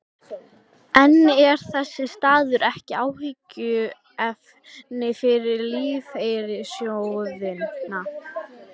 En er þessi staða ekki áhyggjuefni fyrir lífeyrissjóðina?